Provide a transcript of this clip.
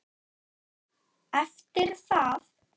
Eftir það